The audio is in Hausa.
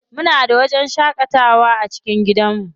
Muna da wajen shaƙatawa a cikin gidanmu.